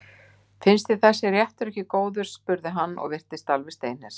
Finnst þér þessi réttur ekki góður? spurði hann og virtist alveg steinhissa.